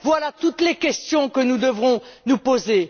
Voilà toutes les questions que nous devrons nous poser.